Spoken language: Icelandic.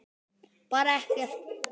Bara ekkert.